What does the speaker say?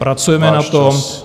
Pracujeme na tom.